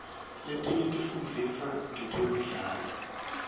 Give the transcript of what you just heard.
letinye tifundzisa ngetemidlao